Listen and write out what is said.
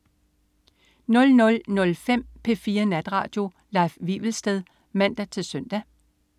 00.05 P4 Natradio. Leif Wivelsted (man-søn)